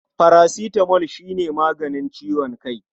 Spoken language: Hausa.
Parasitamol shi ne maganin ciwon kai.